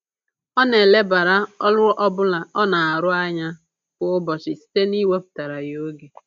Ọ na-elebara ọrụ ọbụla ọ na-arụ anya kwa ụbọchị site na-iwepụtara ya oge